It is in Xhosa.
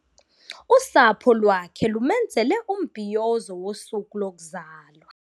Usapho lwakhe lumenzele umbhiyozo wosuku lokuzalwa.